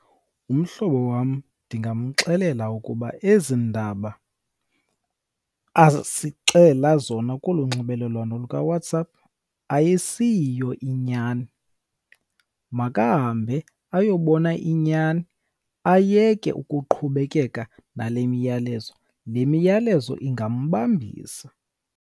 Umhlobo wam ndingamxelela ukuba ezi ndaba asixelela zona kolu nxibelelwano lukaWhatsApp ayisiyiyo inyani. Makahambe ayobona inyani ayeke ukuqhubekeka nale miyalezo, le miyalezo ingambambisa.